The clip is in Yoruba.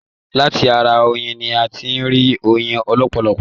Láti ará oyin ní a tí n rí oyin lọpọlọpọ.